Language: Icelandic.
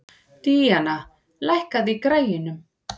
Danía, lækkaðu í græjunum.